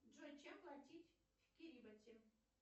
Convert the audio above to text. джой чем платить в кирибати